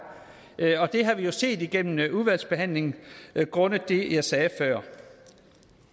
og det har vi jo set igennem udvalgsbehandlingen grundet det jeg sagde før